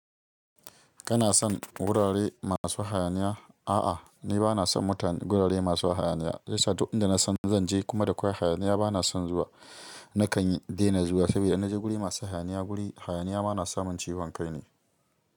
Kana son gurare masu hayaniya? A'a, ni ba na son mutanen gurare masu hayaniya. Shiya sa duk inda na san zan je kuma da akwai hayaniya ba na son zuwa. Nakan yi daina zuwa saboda in naje guri masu hayaniya, guri hayaniya ma na samun ciwon kaine.